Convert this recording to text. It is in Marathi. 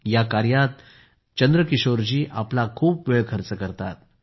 या कामात चंद्रकिशोर जी आपला खूप वेळ खर्च करतात